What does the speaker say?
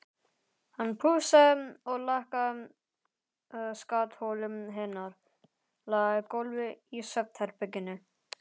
Hann pússaði og lakkaði skattholið hennar, lagaði gólfið í svefnherberginu.